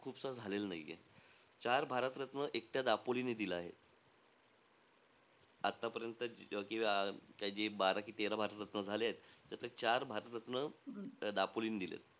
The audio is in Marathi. खुपसा झालेला नाहीये. चार भारतरत्न एकट्या दापोलीने दिलं आहे. आतापर्यंत जे अं काय जे बारा कि तेरा भारतरत्ना झाले आहे, त्यातले चार भारतरत्न दापोलीने दिले आहेत.